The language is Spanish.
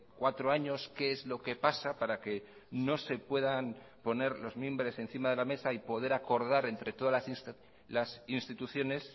cuatro años qué es lo que pasa para que no se puedan poner los mimbres encima de la mesa y poder acordar entre todas las instituciones